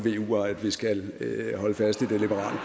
vuer at vi skal holde fast i det liberale